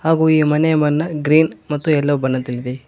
ಹಾಗೂ ಈ ಮನೆಯ ಬಣ್ಣ ಗ್ರೀನ್ ಮತ್ತು ಎಲ್ಲೋ ಬಣ್ಣದಲ್ಲಿದೆ.